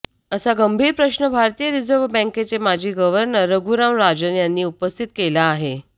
असा गंभीर प्रश्न भारतीय रिझर्व्ह बँकेचे माजी गव्हर्नर रघुराम राजन यांनी उपस्थित केला आहे